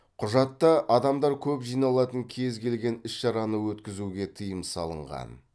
құжатта адамдар көп жиналатын кез келген іс шараны өткізуге тыйым салынған